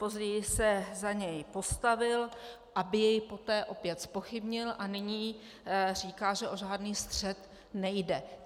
Později se za něj postavil, aby jej poté opět zpochybnil, a nyní říká, že o žádný střet nejde.